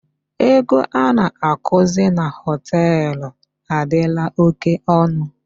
Ego a na-akụzi na hotel adịla oke onụ